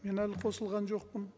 мен әлі қосылған жоқпын